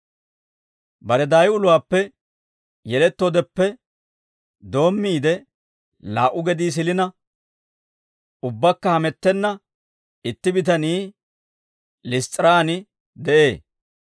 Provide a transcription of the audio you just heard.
Bare daayi uluwaappe yelettoodeppe doommiide, laa"u gedii silina, ubbakka hamettenna itti bitanii Liss's'iraan de'ee.